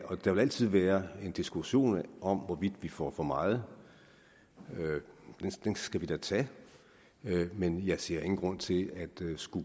der vil altid være en diskussion om hvorvidt vi får for meget den skal vi da tage men jeg ser ingen grund til at